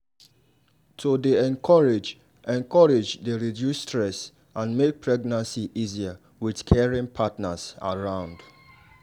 to dey encourage encourage dey reduce stress and make pregnancy easier with caring partners around.